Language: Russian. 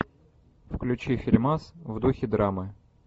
включи фильмас в духе драмы